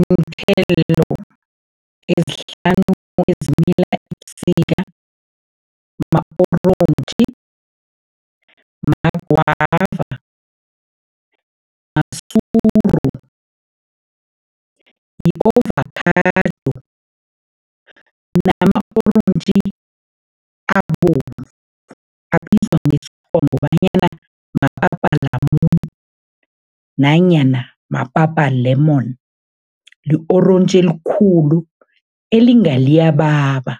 Iinthelo ezihlanu ezimila ebusika, ma-orontji, ma-guava, masuru, yi-ovakhado nama-orentji abovu, abizwa ngokobanyana nanyana mapapa lemon, li-orontji elikhulu elinga liyababa